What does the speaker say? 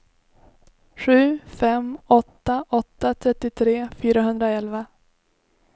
sju fem åtta åtta trettiotre fyrahundraelva